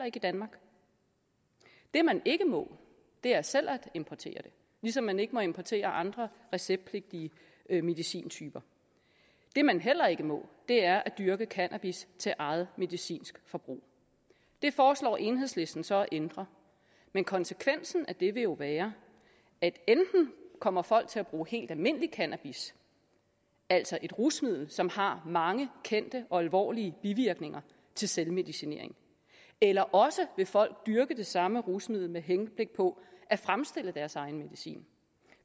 ikke i danmark det man ikke må er selv at importere det ligesom man ikke må importere andre receptpligtige medicintyper det man heller ikke må er at dyrke cannabis til eget medicinsk forbrug det foreslår enhedslisten så at ændre men konsekvensen af det vil jo være at enten kommer folk til at bruge helt almindelig cannabis altså et rusmiddel som har mange kendte og alvorlige bivirkninger til selvmedicinering eller også vil folk dyrke det samme rusmiddel med henblik på at fremstille deres egen medicin